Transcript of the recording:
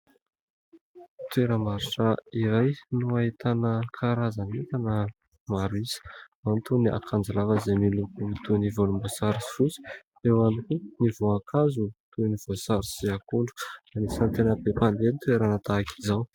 toera-marisra iray no hahitana kaharazany ota na maroisa mantoa ny akanjilava izay miloko toy ny volombosary sy vosy eo anho ny voakazo toy ny voasary sy akondro nanisantena-bepandedy toera natahika izao